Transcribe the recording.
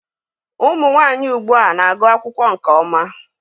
Ụmụ nwanyị ugbua na-agụ akwụkwọ nke ọma